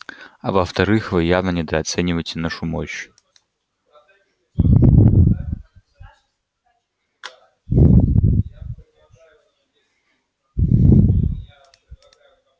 а во вторых вы явно недооцениваете нашу мощь